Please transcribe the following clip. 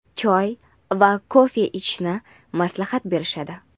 choy va kofe ichishni maslahat berishadi.